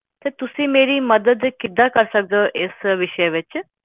ਤੇ ਤੁਸੀਂ ਮੇਰੀ ਮੱਦਦ ਕਿਦਾਂ ਕਰ ਸਕਦੇ ਓ ਇਸ ਵਿਸ਼ੇ ਵਿੱਚ